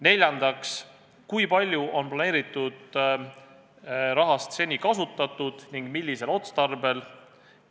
Neljandaks, kui palju on planeeritud rahast seni kasutatud ning millisel otstarbel?